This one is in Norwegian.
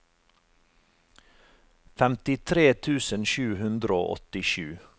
femtitre tusen sju hundre og åttisju